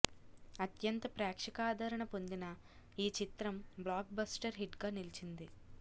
అత్యంత ప్రేక్షకాదరణ పొందిన ఈ చిత్రం బ్లాక్ బస్టర్ హిట్గా నిలిచింది